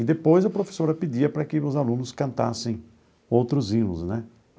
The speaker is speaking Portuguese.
E depois a professora pedia para que os alunos cantassem outros hinos, né?